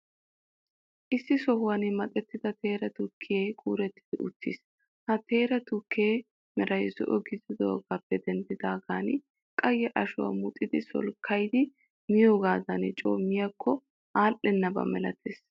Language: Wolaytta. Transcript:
Issi sohuwan maxettida teera tukkee kuurettidi uttiis. Ha teera tukkee meray zo'o gididoogaappe denddidaagan, qayye ashuwaa muxidi solkkayidi miyogaadan coo miyaakko allennaba malatees.